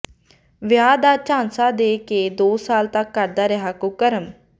ਵਿਆਹ ਦਾ ਝਾਂਸਾ ਦੇ ਕੇ ਦੋ ਸਾਲ ਤੱਕ ਕਰਦਾ ਰਿਹਾ ਕੁਕਰਮ